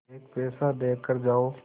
एक पैसा देकर जाओ